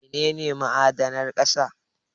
Mene ne ma'adanan ƙasa?